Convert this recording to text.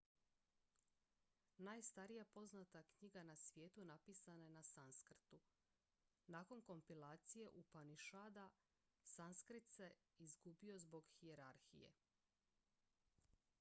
najstarija poznata knjiga na svijetu napisana je na sanskrtu nakon kompilacije upanišada sanskrit se gubio zbog hijerarhije